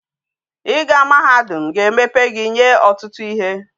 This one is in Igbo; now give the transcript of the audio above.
I ga mahadum ga emepe gi nwe otutu ihe